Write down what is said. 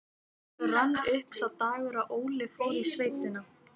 Það er sagt að ástin sé uppgjöf eða göfug fórn.